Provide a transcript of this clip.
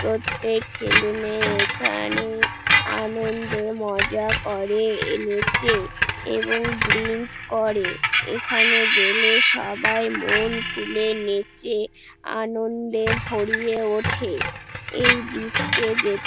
প্রত্যেক ছেলে মেয়ে এখানে-এ আনন্দে মজা করে-এ নেচে এবং ড্রিঙ্ক করে এখানে গেলে সবাই মন খুলে নেচে আনন্দে ভরিয়ে ওঠে এই ডিক্স -এ যেতে--